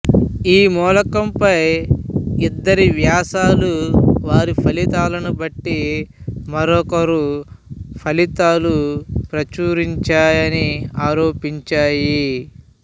ఈ ములకంపై ఇద్దరి వ్యాసాలు వారి ఫలితాలను బట్టి మరొకరు ఫలితాలు ప్రచురించాయని ఆరోపించాయి